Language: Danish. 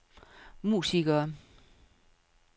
musikere